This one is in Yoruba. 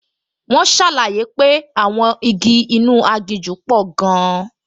Wọ́n ṣàlàyé pé àwọn igi inú aginjù pò gan-an